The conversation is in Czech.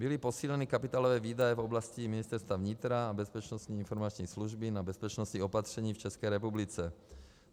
Byly posíleny kapitálové výdaje v oblasti Ministerstva vnitra a Bezpečnostní informační služby na bezpečnostní opatření v České republice.